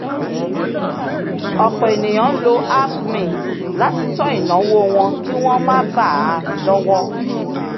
ọ̀pọ̀ ènìyàn ń lo app mint láti tọ́ ináwó wọn kí wọ́n má bà a lọ́wọ́